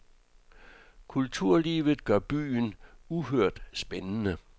Kulturlivet gør byen uhørt spændende.